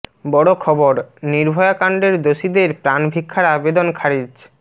বড় খবরঃ নির্ভয়া কাণ্ডের দোষীদের প্রাণ ভিক্ষার আবেদন খারিজ